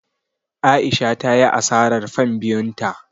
A'isha ta yi asarar fan biyun ta.